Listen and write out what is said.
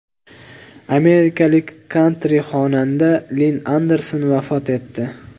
Amerikalik kantri-xonanda Linn Anderson vafot etdi.